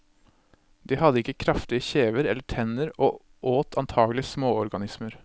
De hadde ikke kraftige kjever eller tenner og åt antakelig småorganismer.